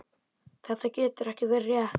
Þetta getur ekki verið rétt.